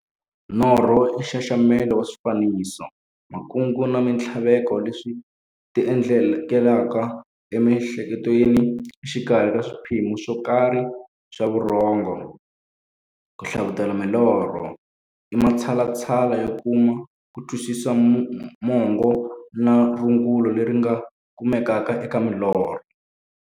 Norho i nxaxamelo wa swifaniso, makungu na minthlaveko leswi ti endlekelaka e mi'hleketweni exikarhi ka swiphemu swokarhi swa vurhongo. Ku hlavutela milorho i matshalatshala yo kuma kutwisisa mungo na rungula leri nga kumekaka eka milorho.